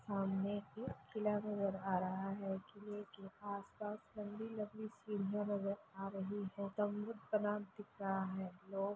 सामने एक किला नजर आ रहा है किला के आस-पास लंबी-लंबी सिडिया नजर आ रही है स्तम्भ बना दिख रहा है।